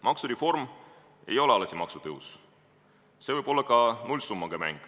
Maksureform ei ole alati maksutõus, see võib-olla ka nullsummaga mäng.